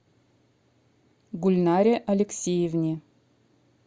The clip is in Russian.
гульнаре алексеевне